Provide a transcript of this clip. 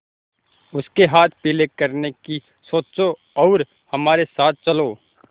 उसके हाथ पीले करने की सोचो और हमारे साथ चलो